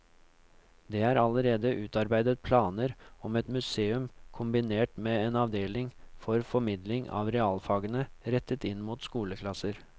Det er allerede utarbeidet planer om et museum kombinert med en avdeling for formidling av realfagene rettet inn mot skoleklasser.